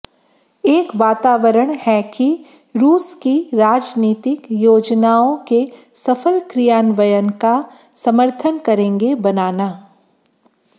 एक वातावरण है कि रूस की राजनीतिक योजनाओं के सफल क्रियान्वयन का समर्थन करेंगे बनाना